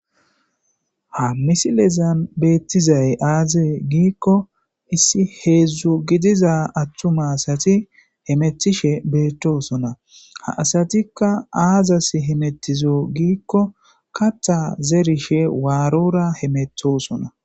Ha missilezan betizay aze giko issi heezhzhu giidaza atuma asti hemetishe bettosona ha asatika azasi hametize giko kaththa zerishe warora hemettosona.